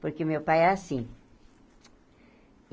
Porque meu pai é assim.